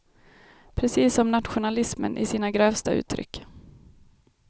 Precis som nationalismen i sina grövsta uttryck.